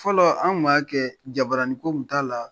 Fɔlɔ an gun ma kɛ jabarani ko kun t'a la.